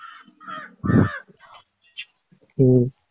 உம்